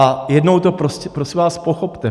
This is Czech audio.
A jednou to prosím vás, pochopte.